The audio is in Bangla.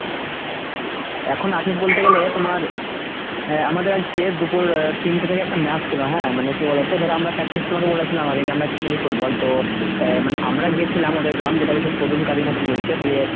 এখন আছিস বলতে গেলে তোমার অ্যাঁ আমাদের আজকে দুপুর তিনটে থেকে একটা match ছিল হ্যাঁ মানে কি বলতো ধরো আমরা practice তোমাকে বলেছিলাম আগে যে আমরা খেলি football। তো অ্যাঁ মানে আমরা গেছিলাম ওদের গ্রামে যেটা হয়েছে প্রদুম কাদি না কি বলছে, দিয়ে